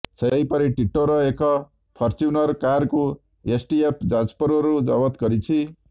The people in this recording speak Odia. ସେହିପରି ଟିଟୋର ଏକ ଫରଚ୍ୟୁନର କାର୍କୁ ଏସ୍ଟିଏଫ ଯାଜପୁରରୁ ଜବତ କରିଛି